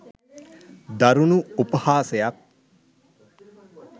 දරුණු උපහාසයක්